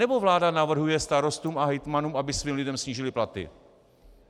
Anebo vláda navrhuje starostům a hejtmanům, aby svým lidem snížili platy?